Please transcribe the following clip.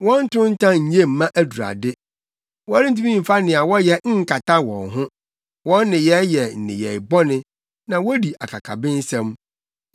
Wɔn ntontan nye mma adurade; wɔrentumi mfa nea wɔyɛ nkata wɔn ho. Wɔn nneyɛe yɛ nneyɛe bɔne, na wodi akakabensɛm.